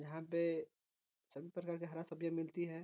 यहाँ पे सभी प्रकार के हरा सब्जी मिलती हैं।